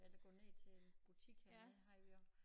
Eller gå ned til en butik hernede havde vi også